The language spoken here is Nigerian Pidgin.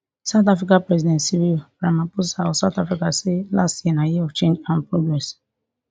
south africa president cyril ramaphosa of south africa say last year na year of change and progress